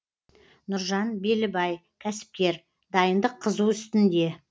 нұржан белібай кәсіпкер дайындық қызу үстінде